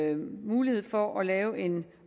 en mulighed for at lave en